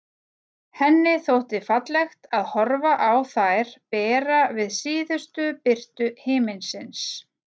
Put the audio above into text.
Henni þótti fallegt að horfa á þær bera við síðustu birtu himinsins.